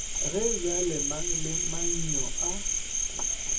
ge bjalemang le mangyo a